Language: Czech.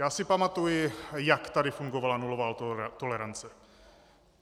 Já si pamatuji, jak tady fungovala nulová tolerance.